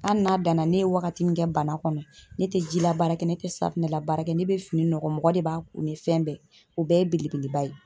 Hali n'a danna ne ye wagati min kɛ bana kɔnɔ ne tɛ jila baara kɛ ne tɛ safunɛ labaara kɛ ne be fini nɔgɔ mɔgɔ de b'a ni fɛn bɛɛ. O bɛɛ ye belebeleba ye.